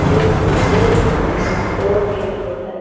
जो कि एक घर में दो विंडो है।